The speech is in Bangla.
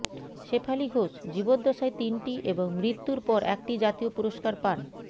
শেফালী ঘোষ জীবদ্দশায় তিনটি এবং মৃত্যুর পর একটি জাতীয় পুরস্কার পান